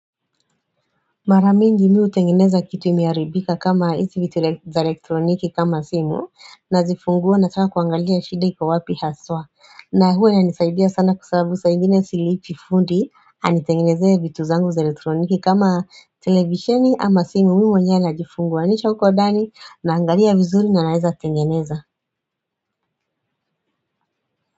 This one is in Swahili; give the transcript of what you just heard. Mara mingi mi hutengeneza kitu imeharibika kama hizi vitu za elektroniki kama simu nazifungua nataka kuangalia shida iko wapi haswa na huwa inanisaidia sana kwa sabubu saa ingine silipi fundi anitengenezee vitu zangu za elektroniki kama televisheni ama simu mi mwenye najifunguanisha huko ndani naangalia vizuri na naeza tengeneza.